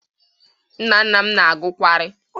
Nnanna m na-agụ kawri.